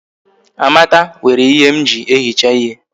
Amaka were ihe m ji ehicha ihe